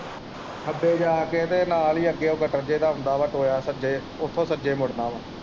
ਖੱਬੇ ਜਾ ਕੇ ਤੇ ਨਾਲ ਹੀ ਅੱਗੇ ਓ ਗਟਰ ਜੇਹਾ ਆਉਂਦਾ ਵਾ ਟੋਆ ਸੱਜੇ ਉਸ ਤੋਂ ਸੱਜੇ ਮੁੜਨਾ ਵਾ।